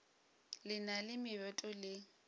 le na le meboto le